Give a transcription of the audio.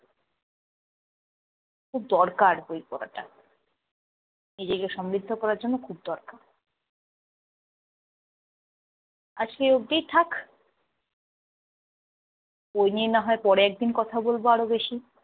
খুব দরকার বই পড়াটা। নিজেকে সমৃদ্ধ করার জন্য দরকার। আজ সেই অবধি থাক। বই নিয়ে না হয় পরে একদিন কথা বলব আরো বেশি।